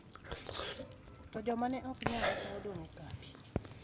To joma ne ok nyal ne odong’ e kambi.